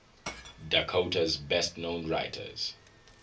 dakota's best known writers